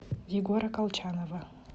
егора колчанова